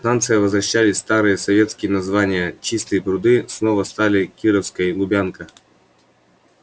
станциям возвращали старые советские названия чистые пруды снова стали кировской лубянка